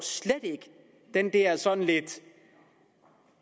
den der sådan lidt